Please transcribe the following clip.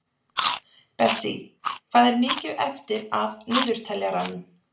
Bessí, hvað er mikið eftir af niðurteljaranum?